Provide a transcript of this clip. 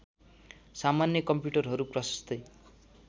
सामान्य कम्प्युटरहरू प्रशस्तै